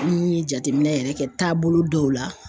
An ye jate minɛn yɛrɛ kɛ taabolo dɔw la.